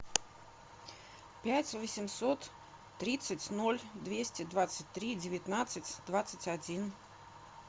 пять восемьсот тридцать ноль двести двадцать три девятнадцать двадцать один